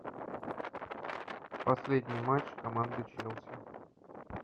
последний матч команды челси